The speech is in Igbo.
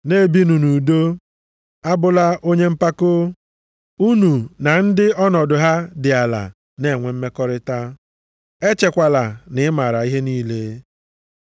Na-ebinụ nʼudo. A bụla onye mpako, unu na ndị ọnọdụ ha dị ala na-enwe mmekọrịta, echekwala na ị maara ihe niile.